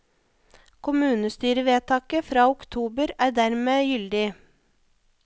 Kommunestyrevedtaket fra oktober er dermed gyldlig.